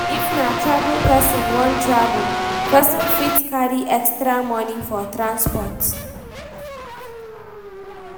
If na travel person wan travel, person fit carry extra money for transport,